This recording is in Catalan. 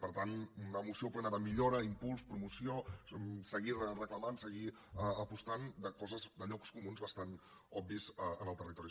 per tant una moció plena de millora impuls promoció seguir reclamant seguir apostant de coses de llocs comuns bastant obvis en el territori